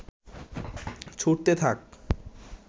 ছুড়তে থাক